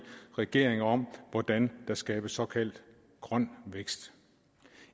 regeringer om hvordan der skabes såkaldt grøn vækst